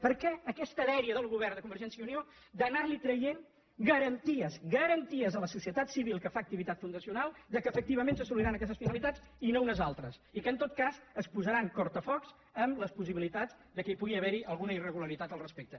per què aquesta dèria del govern de convergència i unió d’anar traient garanties garanti·es a la societat civil que fa activitat fundacional que efectivament s’assoliran aquestes finalitats i no unes altres i que en tot cas es posaran tallafocs a les possi·bilitats que hi pugui haver alguna irregularitat al res·pecte